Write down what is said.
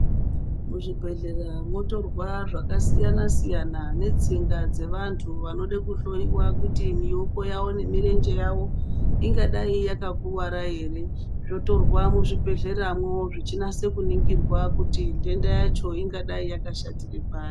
Mu zvibhedhlera motorwa zvaka siyana siyana ne tsinga dze vantu vanode ku hloyiwa kuti mioko yawo ne murenje yawo ingadai yaka kuwara ere zvotorwa mu zvibhedhlera mwo zvichi nasa kuningirwa kuti ndenda yacho ingadai yaka shatire pari.